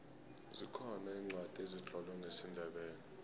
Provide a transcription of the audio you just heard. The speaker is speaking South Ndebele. zikhona iincwadi ezitlolwe ngesindebele